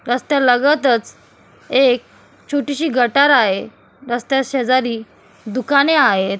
रस्त्यालगतच एक छोटीशी गटार आहे रस्त्याशेजारी दुकाने आहेत.